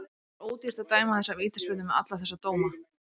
Það var ódýrt að dæma þessa vítaspyrnu með alla þessa dómara.